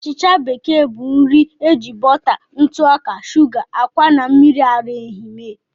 Achịcha bekee bụ nri eji bọta, ntụ ọka, shuga, ákwà, na mmiri ara ehi mee.